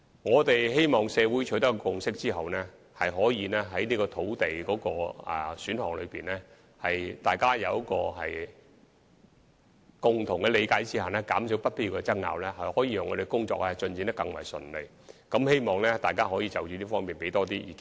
我們希望在社會取得共識後，能就土地選項達成共同的理解，減少不必要的爭拗，從而令當局更加順利地進行有關的工作，所以希望大家可就此向我們提供更多意見。